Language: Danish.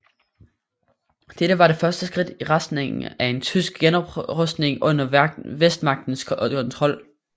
Dette var det første skridt i retning af en tysk genoprustning under Vestmagternes kontrol